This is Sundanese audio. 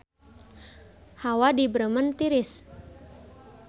Hawa di Bremen tiris